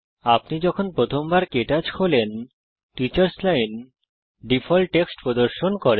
আপনি যখন প্রথমবার কে টচ খোলেন টিচার্স লাইন ডিফল্ট টেক্সট প্রদর্শন করে